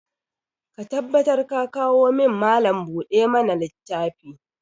Ka tabbatar ka kawo min Mallam buɗe ma na littafi!